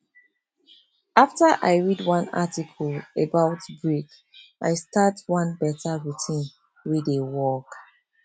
after i read one article about break i start one better routine wey dey work